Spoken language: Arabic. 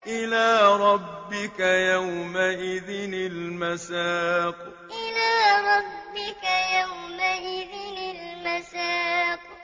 إِلَىٰ رَبِّكَ يَوْمَئِذٍ الْمَسَاقُ إِلَىٰ رَبِّكَ يَوْمَئِذٍ الْمَسَاقُ